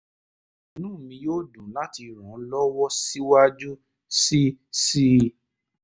inú mi yóò dùn láti ràn ọ́ lọ́wọ́ síwájú sí sí i